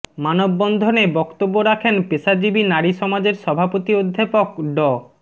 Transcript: মানববন্ধনে বক্তব্য রাখেন পেশাজীবী নারী সমাজের সভাপতি অধ্যাপক ড